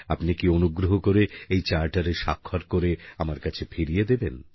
আপনি কি অনুগ্রহ করে এই charterএ স্বাক্ষর করে আমার কাছে ফিরিয়ে দেবেন